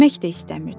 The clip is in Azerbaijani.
Yemək də istəmirdi.